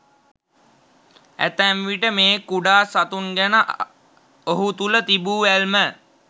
ඇතැම් විට මේ කුඩා සතුන් ගැන ඔහු තුළ තිබූ ඇල්ම